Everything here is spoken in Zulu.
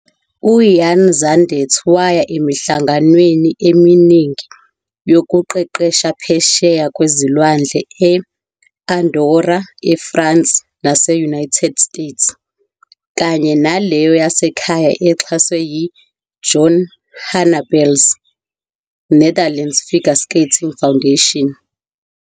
UVan Zundert waya emihlanganweni eminingi yokuqeqesha phesheya kwezilwandle e- Andorra, eFrance nase- United States, kanye naleyo yasekhaya exhaswe yi- Joan Haanappel 's Netherlands Figure Skating Foundation.